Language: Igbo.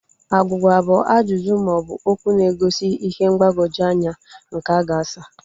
Agwugwa bụ ajụjụ maọbụ okwụ na-egosi ihe mgbagwoju anya nke a ga-asa